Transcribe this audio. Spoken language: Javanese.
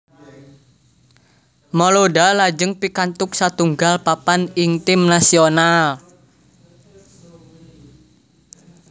Malouda lajeng pikantuk satunggal papan ing tim nasional